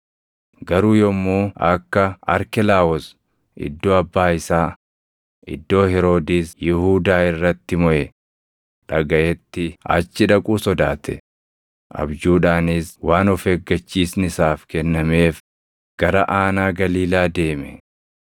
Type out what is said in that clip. Garuu yommuu akka Arkelaawoos iddoo abbaa isaa, iddoo Heroodis Yihuudaa irratti moʼe dhagaʼetti achi dhaquu sodaate; abjuudhaanis waan of eeggachiisni isaaf kennameef gara aanaa Galiilaa deeme;